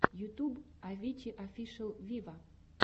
ютуб авичи офишел виво